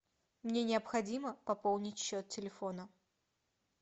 мне необходимо пополнить счет телефона